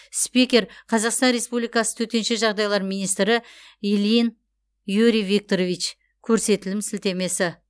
спикер қазақстан республикасы төтенше жағдайлар министрі ильин юрий викторович көрсетілім сілтемесі